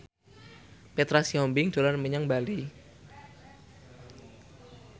Petra Sihombing dolan menyang Bali